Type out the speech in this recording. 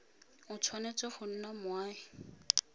o tshwanetse go nna moagi